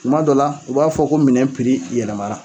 Tuma dɔ la, u b'a fɔ ko minɛn yɛlɛmara.